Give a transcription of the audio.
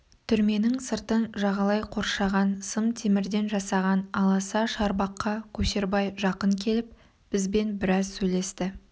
түрменің сыртын жағалай қоршаған сым темірден жасаған аласа шарбаққа көшербай жақын келіп бізбен біраз сөйлесті